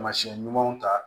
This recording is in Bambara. Taamasiyɛn ɲumanw ta